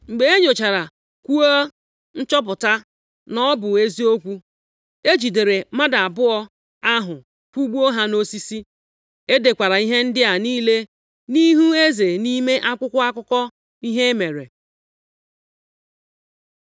Mgbe e nyochara kwu a, chọpụta na ọ bụ eziokwu, e jidere mmadụ abụọ ahụ kwụgbuo ha nʼosisi. E dekwara ihe ndị a niile nʼihu eze nʼime akwụkwọ akụkọ ihe e mere.